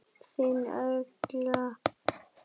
Þín Olga.